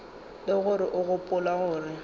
le gore o gopola gore